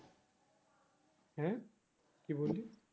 হ্যাঁ কি বললি